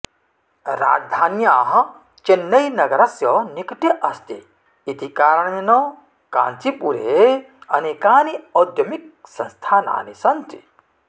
राजधान्याः चेन्नैनगरस्य निकटे अस्ति इति कारणेन काञ्चिपुरे अनेकानि औद्यमिकसंस्थानानि सन्ति